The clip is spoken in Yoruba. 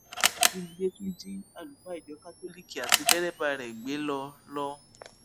ajínigbé tún jí àlùfáà ìjọ kátólíìkì àti dẹrẹbà rẹ gbé lọ lọ